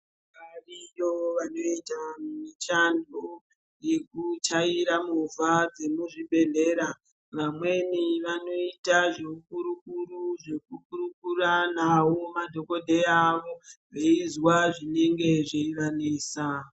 Variyo vanoita mishando yekuchaira movha dzemuzvibhedhlera. Vamweni vanoita zveukurukuru zvekurukura navo madhogodhrya avo veizwa zvinenge zveivanesa.